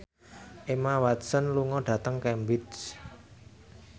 Emma Watson lunga dhateng Cambridge